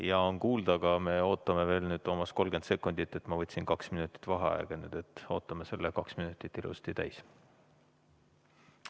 Jaa, on kuulda, aga me ootame veel, Toomas, 30 sekundit, ma võtsin kaks minutit vaheaega, nii et ootame selle kaks minutit ilusasti täis.